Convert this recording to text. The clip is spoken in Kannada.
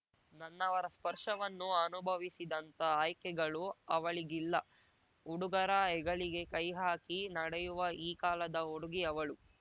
ನನ್ನವರ ಸ್ಪರ್ಶವನ್ನು ಅನುಭವಿಸಿದಂಥ ಆಯ್ಕೆಗಳು ಅವಳಿಗಿಲ್ಲ ಹುಡುಗರ ಹೆಗಲಿಗೆ ಕೈ ಹಾಕಿ ನಡೆಯುವ ಈ ಕಾಲದ ಹುಡುಗಿ ಅವಳು